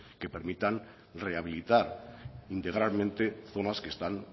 que permitan rehabilitar integralmente zonas que están